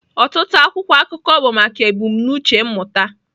Ọtụtụ akwụkwọ akụkọ bụ maka ebumnuche mmụta.